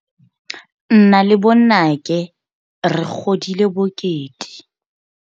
Nna le bonnake re godile bokete.